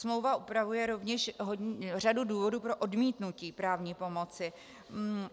Smlouva upravuje rovněž řadu důvodů pro odmítnutí právní pomoci.